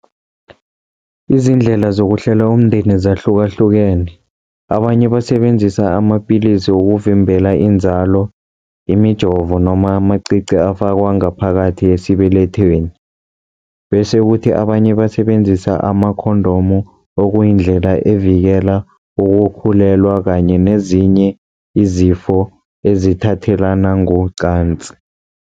Izindlela zokuhlela umndeni zahlukahlukene, abanye basebenzisa amapilisi wokuvimbela inzalo, imijovo noma amacici afakwa ngaphakathi esibelethweni, bese kuthi abanye basebenzisa ama-condom, okuyindlela evikela ukukhulelwa kanye nezinye izifo ezithathelana ngocansi.